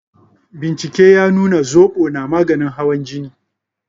Bincke ya nuna soɓo na maganin hawan jini.